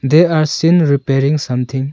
there are seen repairing something.